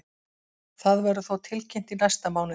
Það verður þó tilkynnt í næsta mánuði.